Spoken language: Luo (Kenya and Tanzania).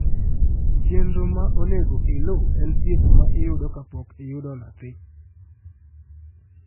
chenro ma onego iluw en thieth ma iyudo kapok iyudo nathi